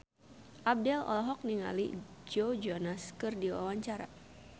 Abdel olohok ningali Joe Jonas keur diwawancara